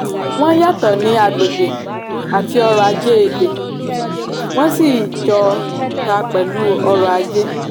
wọn yàtò ní agbègbè àti ọrọ̀-ajé èdè wọn sì jọ tà pelu oro aje.